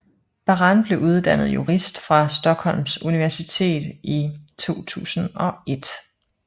Baran blev uddannet jurist fra Stockholms Universitet i 2001